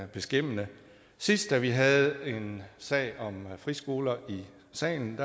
beskæmmende sidst vi havde en sag om friskoler i salen